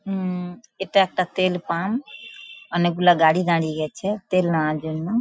হুম-ম এটা একটা তেল পাম্প অনেকগুলা গাড়ি দাঁড়িয়ে গেছে তেল নেওয়ার জন্য।